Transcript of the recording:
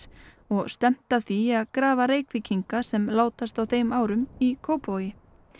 og stefnt að því að grafa Reykvíkinga sem látast á þeim árum í Kópavogi